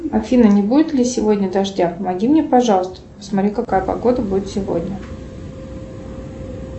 афина не будет ли сегодня дождя помоги мне пожалуйста посмотри какая погода будет сегодня